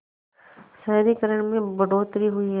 शहरीकरण में बढ़ोतरी हुई है